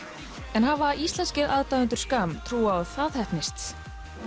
en hafa íslenskir aðdáendur trú á að það heppnist